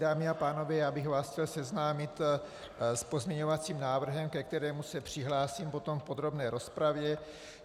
Dámy a pánové, já bych vás chtěl seznámit s pozměňovacím návrhem, ke kterému se přihlásím potom v podrobné rozpravě.